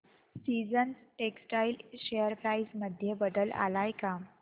seasons textile share price मध्ये बदल आलाय का